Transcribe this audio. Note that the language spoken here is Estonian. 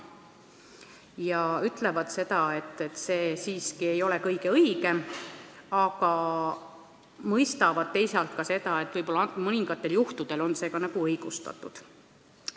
Nad ütlevad, et see ei ole siiski kõige õigem, aga mõistavad, teisalt, et mõningatel juhtudel võib see olla õigustatud.